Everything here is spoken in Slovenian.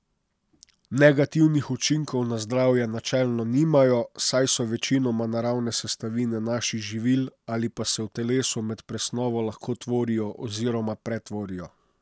Negativnih učinkov na zdravje načelno nimajo, saj so večinoma naravne sestavine naših živil ali pa se v telesu med presnovo lahko tvorijo oziroma pretvorijo.